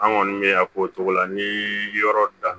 An kɔni bɛ yan k'o cogo la ni yɔrɔ da